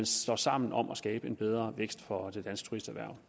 står sammen om at skabe en bedre vækst for det danske turisterhverv